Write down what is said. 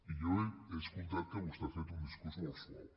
i jo he escoltat que vostè ha fet un discurs molt suau